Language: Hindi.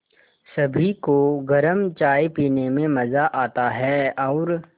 सभी को गरम चाय पीने में मज़ा आता है और